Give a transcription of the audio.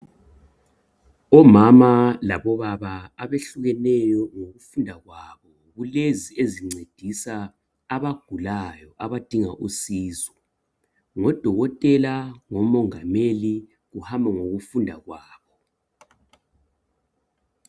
Omama labobaba abehlukeneyo ngokufunda kwabo kulezi ezincedisa abagulayo abadinga usizo ngodokotela ngomongameli kuhamba ngokufunda kwabo